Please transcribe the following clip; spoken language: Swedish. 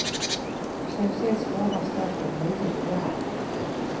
På så sätt sparar staten nio miljarder.